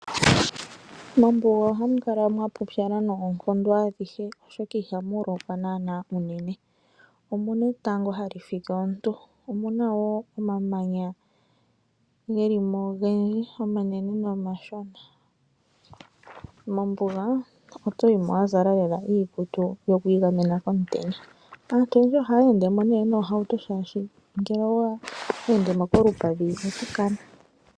Mombuga ohamu kala mwapupyala unene oshoka ihamu lokwa unene. Omuna etango hali fike omuntu, nomamanya ogendji omanene nomashona. Mombuga otoyi mo wazala iikutu yokwiigamena komutenya. Aantu mombuga ohaya yimo noohauto oshoka ngele owa yimo kolupadhi oto kana.